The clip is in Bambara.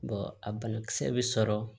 a banakisɛ bɛ sɔrɔ